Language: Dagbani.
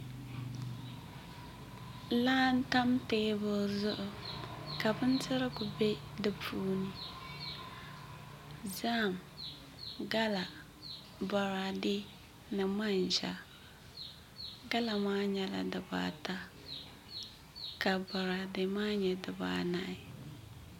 Laa n tam teebuli zuɣu ka bindirigu bɛ di puuni zaham gala boraadɛ ni manʒa gala maa nyɛla dibaata ka boraadɛ maa nyɛ dibaanahi